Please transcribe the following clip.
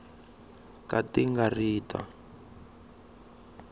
ka ti nga ri ta